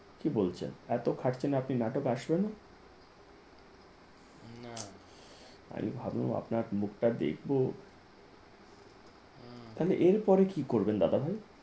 কি বলছেন এত খাটছেন আপনি নাটক আসবে না? না আমি ভাবলাম আপনার মুখটা দেখব তাহলে এর পরে কি করবেন দাদা ভাই?